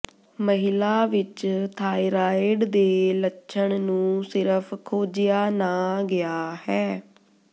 ਮਹਿਲਾ ਵਿੱਚ ਥਾਇਰਾਇਡ ਦੇ ਲੱਛਣ ਨੂੰ ਸਿਰਫ਼ ਖੋਜਿਆ ਨਾ ਗਿਆ ਹੈ